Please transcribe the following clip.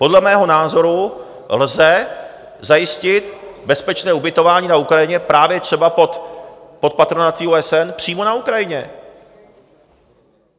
Podle mého názoru lze zajistit bezpečné ubytování na Ukrajině, právě třeba pod patronací OSN, přímo na Ukrajině.